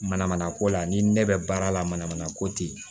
Manamana ko la ni ne bɛ baara la mana mana ko ten